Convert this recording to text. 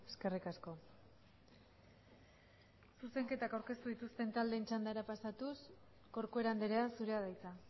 eskerrik asko zuzenketak aurkeztu dituzten taldeen txandara pasatuz corcuera andrea zurea da hitza